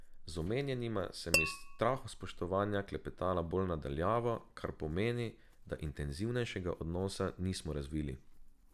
Z omenjenima sem iz strahospoštovanja klepetala bolj na daljavo, kar pomeni, da intenzivnejšega odnosa nismo razvili.